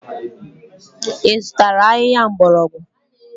Ị zụtara ahịhịa mgbọrọgwụ?